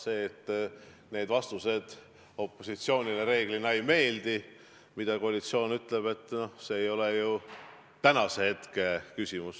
See, et koalitsiooni vastused opositsioonile reeglina ei meeldi – noh, see ei ole ju tänase päeva küsimus.